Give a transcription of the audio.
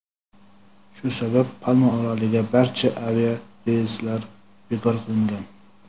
Shu sabab -Palma oroliga barcha aviareyslar bekor qilingan.